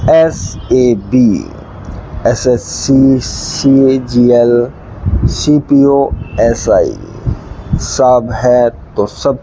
S A B S S C C G L C P O S I सब है तो सब--